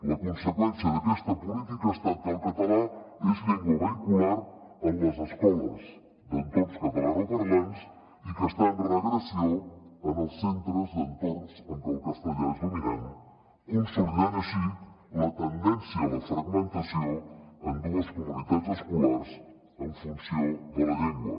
la conseqüència d’aquesta política ha estat que el català és llengua vehicular en les escoles d’entorns catalanoparlants i que està en regressió en els centres d’entorns en què el castellà és dominant consolidant així la tendència a la fragmentació en dues comunitats escolars en funció de la llengua